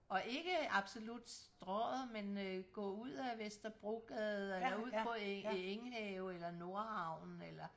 Og ikke absolut Strøget men øh gå ud ad Vesterbrogade eller på Enghave eller Nordhavnen eller